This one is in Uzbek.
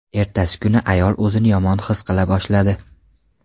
Ertasi kuni ayol o‘zini yomon his qila boshladi.